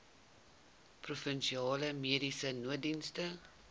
provinsiale mediese nooddienste